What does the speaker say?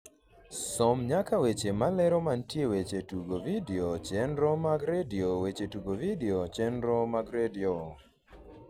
som nyaka weche malero mantie weche tugo vidio chenro mag redio weche tugo vidio chenro mag redio